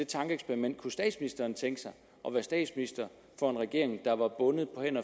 tankeeksperiment kunne statsministeren tænke sig at være statsminister for en regering der var bundet på hænder